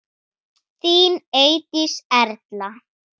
Þín Eydís Erla.